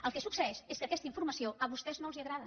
el que succeeix és que aquesta informació a vostès no els agrada